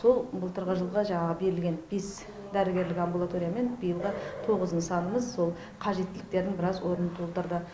сол былтырғы жылғы жаңағы берілген бес дәрігерлік амбулатория мен биылғы тоғыз нысанымыз сол қажеттіліктердің біраз орнын толтырды